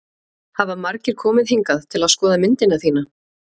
Hafa margir komið hingað til að skoða myndina þína?